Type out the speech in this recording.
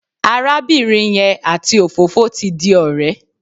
Arábìnrin yẹn àti òfófó ti di ọ̀rẹ́.